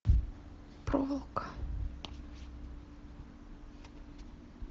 проволока